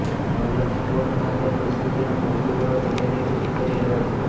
Navlakhi port ખાતે પરિસ્થિતિને પહોચી વળવા તૈયારીઓ પુરી કરી લેવાઈછે